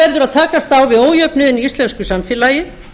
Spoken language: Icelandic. verður að takast á við ójöfnuðinn í íslensku samfélagi